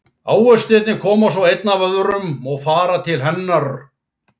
Ávextirnir koma svo einn af öðrum og fara til hennar.